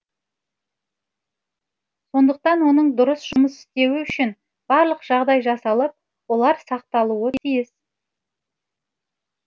сондықтан оның дұрыс жұмыс істеуі үшін барлық жағдай жасалып олар сақталуы тиіс